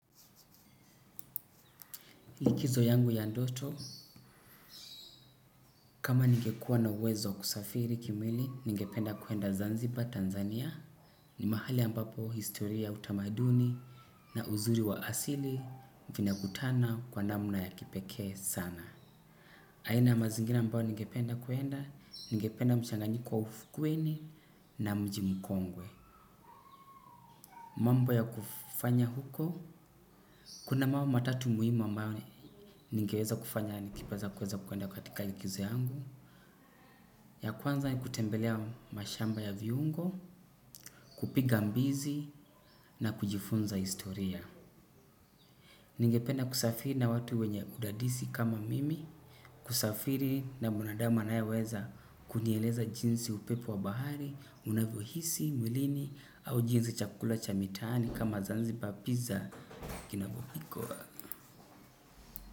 Likizo yangu ya ndoto, kama ningekuwa na uwezo kusafiri kimwili, ningependa kuenda Zanzibar, Tanzania. Ni mahali ambapo historia utamaduni na uzuri wa asili vina kutana kwa namna ya kipekee sana. Aina ya mazingina ambayo ningependa kuenda, ningependa mshanganyiko wa ufukweni na mji mukongwe. Mambo ya kufanya huko, kuna mawa matatu muhimau mawa ngeweza kufanya ni kipaza kuweza kuenda katika likizo yangu. Ya kwanza ni kutembelea mashamba ya viungo, kupiga mbizi na kujifunza historia. Ningependa kusafiri na watu wenye udadisi kama mimi, kusafiri na mwanadamu anaeweza kunieleza jinsi upepo wa bahari, unavohisi, mwilini au jinsi chakula cha mitani kama zanzi papizza, kinabupiko wa.